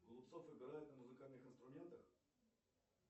голубцов играет на музыкальных инструментах